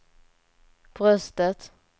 bröstet